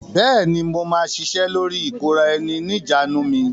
Bẹ́ẹ̀ ni, mo máa ṣiṣẹ́ lórí ìkóra-ẹni-ní-ìjánu mi.